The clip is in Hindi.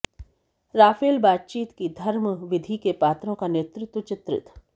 राफेल बातचीत कि धर्मविधि के पात्रों का नेतृत्व चित्रित